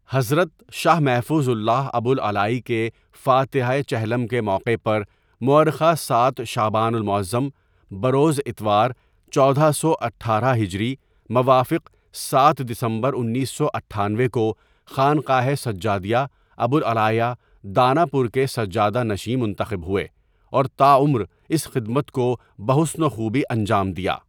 حضرت شاہ محفوظ اللہ ابوالعلائی کے فاتحۂ چہلم کے موقع پر مؤرخہ ۷؍شعبان المعظم بروز اتوار چودہ سو اٹھارہ ہجری موافق ۷؍دسمبر انیس سو اٹھانوے کو خانقاہ سجادیہ ابوالعلائیہ، داناپور کے سجادہ نشیں منتخب ہوئے اور تاعمر اس خدمت کو بحسن و خوبی انجام دیا.